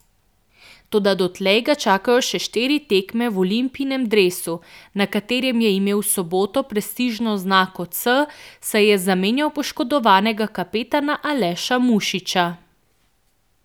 Toda dotlej ga čakajo še štiri tekme v Olimpijinem dresu, na katerem je imel v soboto prestižno oznako C, saj je zamenjal poškodovanega kapetana Aleša Mušiča.